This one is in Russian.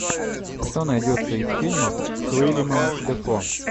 что найдется из фильмов с уильямом дефо